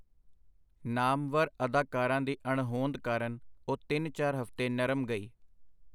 ਨਾਮਵਰ ਅਦਾਕਾਰਾਂ ਦੀ ਅਣਹੋਂਦ ਕਾਰਨ ਉਹ ਤਿੰਨ ਚਾਰ ਹਫਤੇ ਨਰਮ ਗਈ.